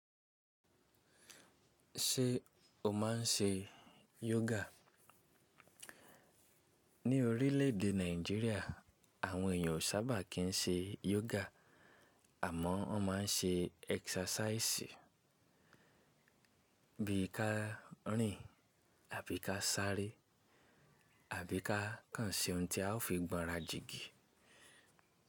Ṣé o máa n ṣe yoga? Ní orílè èdè Nàìjíríà àwọn èèyàn ò sábà kín ṣe yoga àmọ́ wọ́n máa n ṣe exercise bí i ká rìn àbí ká sáré àbí ká kan se ohun tí a ó fi gbọ́nra jìgì.